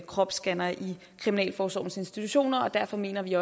kropsscannere i kriminalforsorgens institutioner og derfor mener vi